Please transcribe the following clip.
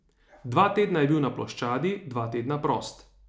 Dva tedna je bil na ploščadi, dva tedna prost.